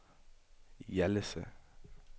Hjallese